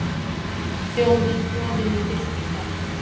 Þjóðin klofin í fylkingar